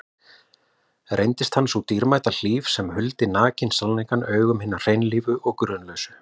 Reyndist hann sú dýrmæta hlíf sem huldi nakinn sannleikann augum hinna hreinlífu og grunlausu.